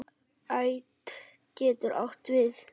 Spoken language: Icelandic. Ætt getur átt við